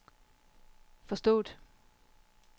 forstået